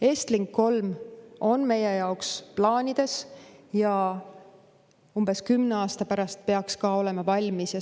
EstLink 3 on meie plaanides olemas ja umbes 10 aasta pärast peaks see valmis olema.